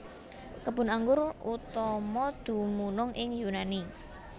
Kebun anggur utama dumunung ing Yunani